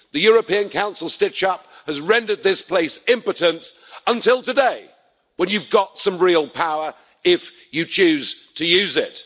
The European Council stitch-up has rendered this place impotent, until today when you've got some real power if you choose to use it.